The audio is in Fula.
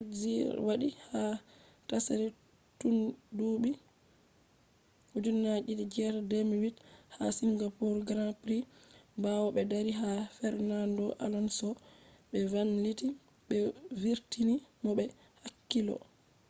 piquet jr. wadi ha tsari tundubi 2008 ha singapore grand prix bawo be dari ha fernando alonso be vanliti be vurtini mo be hakkilo